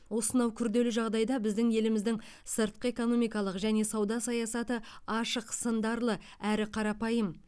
осынау күрделі жағдайда біздің еліміздің сыртқы экономикалық және сауда саясаты ашық сындарлы әрі қарапайым